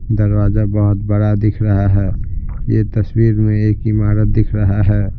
दरवाजा बोहोत बड़ा दिख रहा है यह तस्वीर में एक इमारत दिख रहा है।